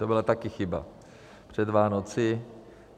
To byla taky chyba před Vánoci.